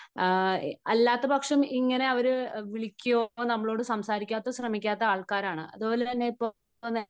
അല്ലാത്തപക്ഷം ഇങ്ങനെ അവർ വിളിക്കുകയോ നമ്മളോട് സംസാരിക്കാൻ ശ്രമിക്കുകയോ ചെയ്യാത്ത ആൾക്കാരാണ്. അത് അതുപോലെ ഇപ്പോൾ